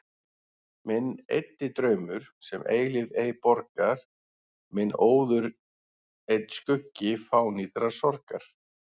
Minn eyddi draumur, sem eilífð ei borgar, minn óður einn skuggi fánýtrar sorgar.